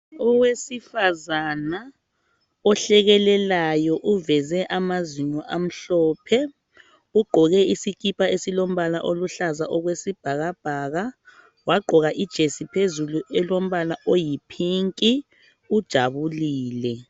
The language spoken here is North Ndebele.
Owesifazana ohlekelelayo uveze amazinyo amhlophe ugqoke isikipa esilombala oluhlaza okwesibhakabhaka wagqoka ijesi phezulu elombala oyipink ujabulile